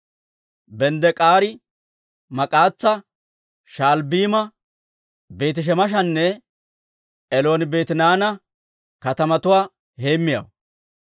Benddek'ari Maak'as'a, Sha'albbiima, Beeti-Shemeshanne Elooni-Beetihanaana katamatuwaa heemmiyaawaa.